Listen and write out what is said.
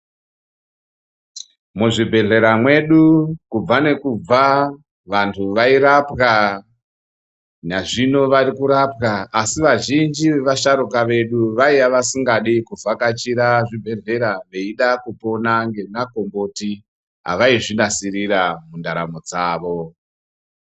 Muzvibhedhera mwedu kubva nekubva vantu vairapwa, nazvino vari kurapwa asi vazhinji vevasharuka vedu vaiya vasingadi kuvhakachira zvibhedhlera veida kupona ngemakomboti avaizvinasirira mundaramo dzavo.